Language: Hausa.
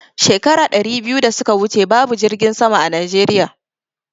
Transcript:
Shekara ɗari biyu da suka wuce babu jirgin sama a Najeriya